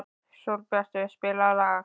Sólbjartur, spilaðu lag.